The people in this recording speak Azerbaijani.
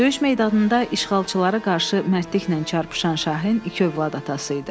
Döyüş meydanında işğalçılara qarşı mərdliklə çarpışan Şahin iki övlad atası idi.